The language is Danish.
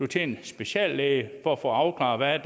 til speciallæge for at få afklaret